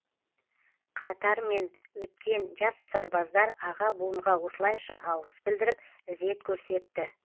қатармен өткен жас сарбаздар аға буынға осылайша алғыс білдіріп ізет көрсетті